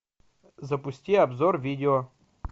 запусти обзор видео